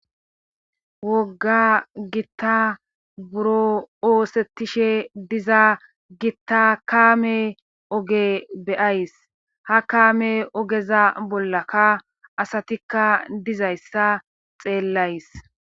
Wogga gitta buro oosettishshe diza gitta kaame oge be'ays ha kaame ogeza bollaka asatikka dizayssa xeellays